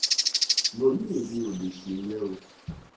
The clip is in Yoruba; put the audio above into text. mo ní èmi ò lè ṣèyẹn o